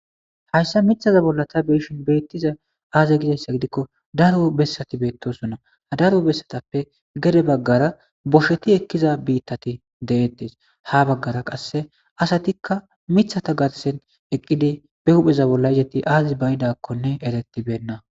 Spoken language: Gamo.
hayssa mithaza bolla ta be7ishin beettiza aaze gizayssa gidikko daro bessati beettosonna a daro bessatappe gede baggara bosheti ekkiza biittati deettes ha baggara qasse asatikka mithata garsen eqqidi be hupheza bolla izeti aazi ba7idakkonne eretibenna.